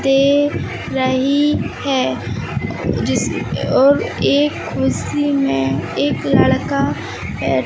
दे रही है जिस और एक कुर्सी में एक लड़का है।